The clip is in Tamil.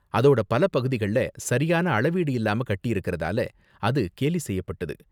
அதோட பல பகுதிகள்ல சரியான அளவீடு இல்லாம கட்டியிருக்கறதால அது கேலி செய்யப்பட்டது.